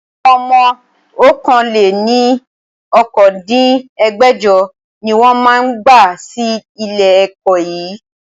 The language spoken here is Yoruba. Àwọn ọmọ ọ̀kan-lé-ní-okòó dín ní ẹgbẹ́jọ ni wọn máa gba sì ilé ẹ̀kọ́ yii